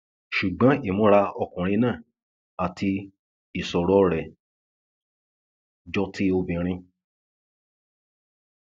ṣùgbọn ìmúra ọmọkùnrin náà àti ìṣòro rẹ jọ ti obìnrin